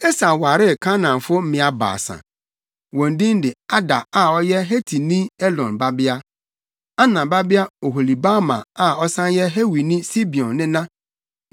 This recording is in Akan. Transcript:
Esau waree Kanaanfo mmea baasa. Wɔn din de Ada a ɔyɛ Hetini Elon babea, Ana babea Oholibama a ɔsan yɛ Hewini Sibeon nena ne